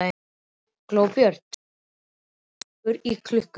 Glóbjört, spilaðu lagið „Gaukur í klukku“.